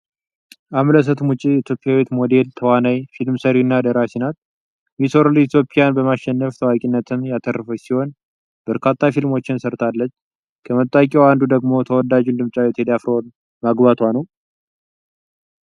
አምለሰት ሙጬ ኢትዮጵያዊት ሞዴል፣ ተዋናይት፣ የፊልም ሰሪና ደራሲ ናት። 'ሚስ ወርልድ ኢትዮጵያ'ን በማሸነፍ ታዋቂነትን ያተረፈች ሲሆን በርካታ ፊልሞችን ሰርታለች። ከመታወቂያዋ አንዱ ደግሞ ተወዳጁን ድምፃዊ ቴዲ አፍሮን ማግባቷ ነው።